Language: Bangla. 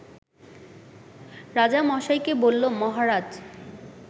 রাজামশাইকে বলল মহারাজ